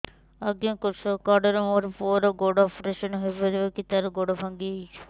ଅଜ୍ଞା କୃଷକ କାର୍ଡ ରେ ମୋର ପୁଅର ଗୋଡ ଅପେରସନ ହୋଇପାରିବ କି ତାର ଗୋଡ ଭାଙ୍ଗି ଯାଇଛ